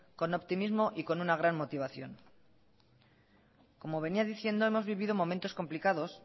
con optimismo y con una gran motivación como venía diciendo hemos vivido momentos complicados